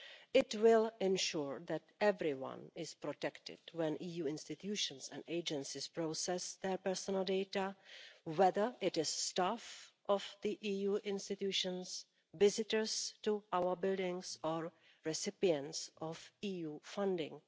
It will ensure that everyone is protected when EU institutions and agencies process their personal data, whether it is staff of the EU institutions, visitors to our buildings or recipients of EU funding.